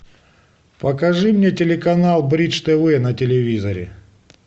покажи мне телеканал бридж тв на телевизоре